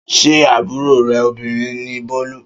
Ṣé àbúrò rè obìnrin ni Bọ́lú?